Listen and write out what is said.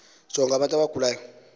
jonga abantu abagulayo